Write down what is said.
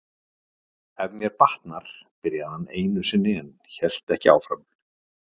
Ef mér batnar., byrjaði hann einu sinni en hélt ekki áfram.